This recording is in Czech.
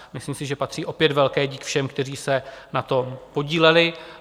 Myslím si, že patří opět velký dík všem, kteří se na tom podíleli.